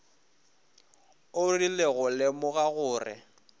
o rile go lemoga gore